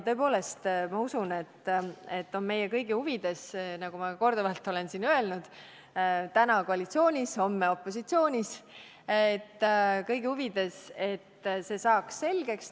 Tõepoolest, ma usun, et on meie kõigi huvides , et see saaks selgeks.